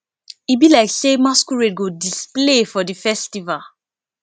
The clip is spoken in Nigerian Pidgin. e be like sey masquerade go display for di festival